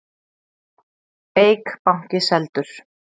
Eik banki seldur